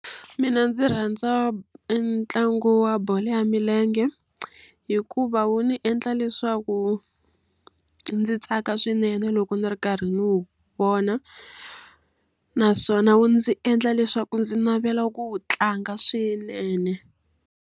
Mina ndzi rhandza e ntlangu wa bolo ya milenge, hikuva wu ndzi endla leswaku ndzi tsaka swinene loko ni ri karhi ni wu vona. Naswona wu ndzi endla leswaku ndzi navela ku wu tlanga swinene.